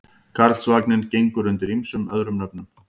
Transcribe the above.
Karlsvagninn gengur undir ýmsum öðrum nöfnum.